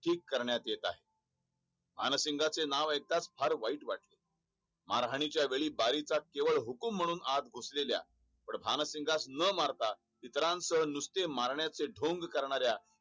ठीक करण्यात येत आहे. भासिंगाचे नाव आयकताच फार वाईट वाटले महाराणी च्या वेळी केवळ बाई हुकूम म्हणून आत घुसलेल्या पण भानसिंगास न मारता इतल्यास नुसते मारण्याचे ढोंग करण्याला ठीक करण्यात येत आहे.